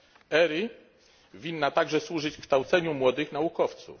ERI powinna także służyć kształceniu młodych naukowców.